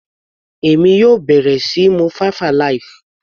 Èmi yóò bẹ̀rẹ̀ síí mu five alive.